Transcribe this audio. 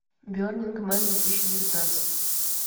бернинг ман две тысячи девятнадцать